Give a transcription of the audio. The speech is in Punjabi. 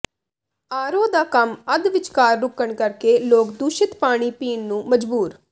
ਆਰਓ ਦਾ ਕੰਮ ਅੱਧ ਵਿਚਕਾਰ ਰੁਕਣ ਕਰਕੇ ਲੋਕ ਦੂਸ਼ਿਤ ਪਾਣੀ ਪੀਣ ਨੂੰ ਮਜਬੂਰ